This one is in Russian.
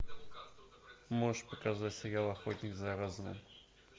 можешь показать сериал охотник за разумом